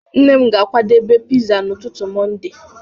Nne m ga-akwadebe pizza n'ụtụtụ Mọnde.